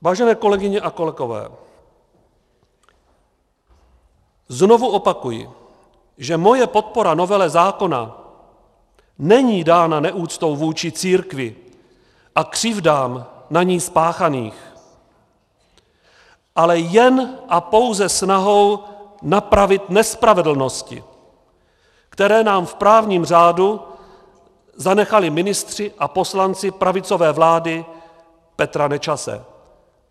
Vážené kolegyně a kolegové, znovu opakuji, že moje podpora novele zákona není dána neúctou vůči církvi a křivdám na ní spáchaných, ale jen a pouze snahou napravit nespravedlnosti, které nám v právním řádu zanechali ministři a poslanci pravicové vlády Petra Nečase.